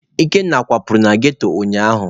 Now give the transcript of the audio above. Ikenna kwapụrụ na ghetto ụnyaahụ.